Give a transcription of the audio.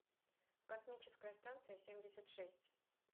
космическая станция семьдесят шесть